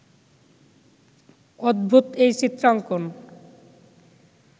অদ্ভূত এই চিত্রাঙ্কণ